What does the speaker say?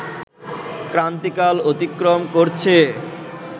ক্রান্তিকাল অতিক্রম করছে